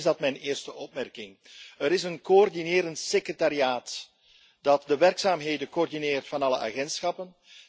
En meteen is dat mijn eerste opmerking er is een coördinerend secretariaat dat de werkzaamheden coördineert van alle agentschappen.